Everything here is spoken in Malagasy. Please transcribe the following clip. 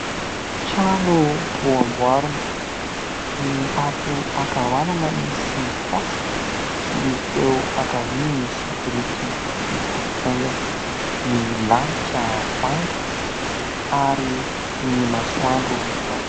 Trano vao hamboarina, ny ato an-kavanana misy fasika ary ny ao an-kavia misy biriky mifampitaingina, ny lanitra manga ary ny masoandro mibaliaka.